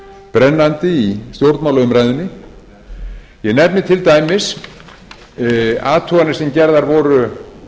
brennandi í stjórnmálaumræðunni ég nefni til dæmis athuganir sem gerðar voru